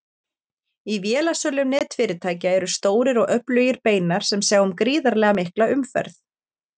Í vélasölum netfyrirtækja eru stórir og öflugir beinar sem sjá um gríðarlega mikla umferð.